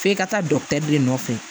F'i ka taa dɔkitɛri nɔfɛ